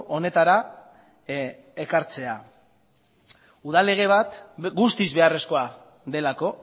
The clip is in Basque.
honetara ekartzea udal lege bat guztiz beharrezkoa delako